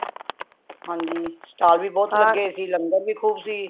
ਹਨਜੀ stall ਵੀ ਬਹੁਤ ਲੱਗੇ ਦੇ ਸੀ ਲੰਗਰ ਵੀ ਖੂਬ ਸੀ